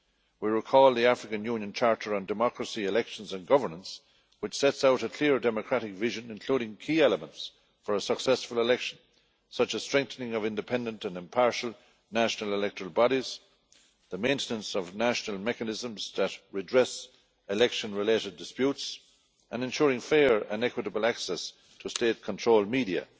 We recall the African Union Charter on Democracy, Elections and Governance, which sets out a clear democratic vision, including key elements for a successful election, such as strengthening of independent and impartial national electoral bodies, the maintenance of national mechanisms that redress election related disputes, and ensuring fair and equitable access to state controlled media